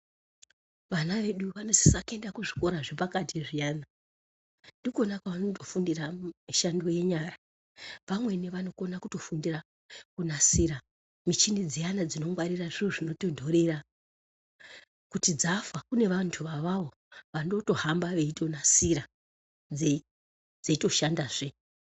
Vana vedu vanosisa kuenda kuzvikora zvepakati zviyani, ndikona kwavanondofundira mishando yenyara. Pamweni vanokone kutofundira kunasira michini dzimweni dziyana dzinongwarire zviro zvinotontorera, kuti dzafa kune vanthu avavo vanotohamba veitonasira , dzeitoshandazve.